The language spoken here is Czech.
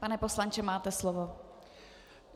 Pane poslanče, máte slovo.